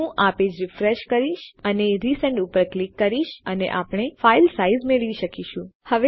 હું આ page refresh કરીશ અને રિસેન્ડ ઉપર ક્લિક કરીશ અને આપણે ફાઈલ સાઈઝ મેળવી શકીએ છીએ